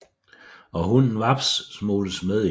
Og hunden Vaps smugles med ind